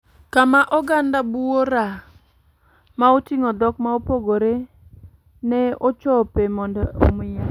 Kama oganda buora ma otingo dhok ma opogore na ochope mondo omiel.